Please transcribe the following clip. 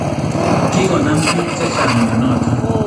Kigonam piik chechang' myonoton